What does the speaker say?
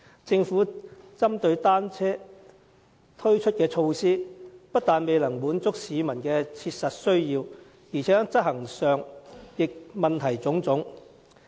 政府針對單車推出的措施，不但未能滿足市民的切實需要，而且在執行上也問題眾多。